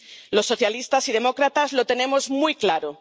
Los socialistas y demócratas lo tenemos muy claro.